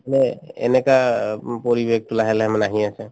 মানে এনেকা উম পৰিৱেশ লাহে লাহে মানে আহি আছে